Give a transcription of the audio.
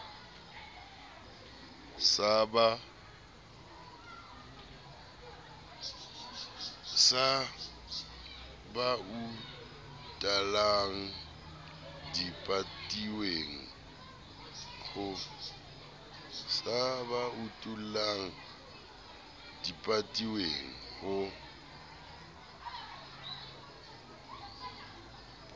sa ba utullang dipatilweng ho